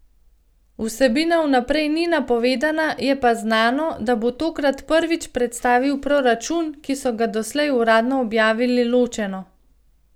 Vsebina vnaprej ni napovedana, je pa znano, da bo tokrat prvič predstavil proračun, ki so ga doslej uradno objavili ločeno.